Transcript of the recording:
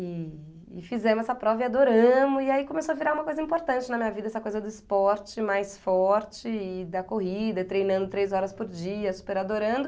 E e fizemos essa prova e adoramos, e aí começou a virar uma coisa importante na minha vida, essa coisa do esporte mais forte, e da corrida, treinando três horas por dia, super adorando.